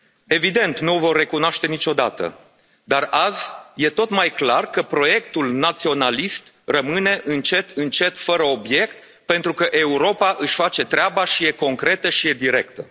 Evident, nu o vor recunoaște niciodată, dar azi e tot mai clar că proiectul naționalist rămâne, încet încet, fără obiect, pentru că Europa își face treaba și e concretă, și e directă.